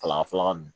Kalan fɔlɔ mi